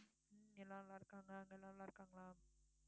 இங்க நல்லா இருக்காங்க அங்க நல்லா இருக்காங்களா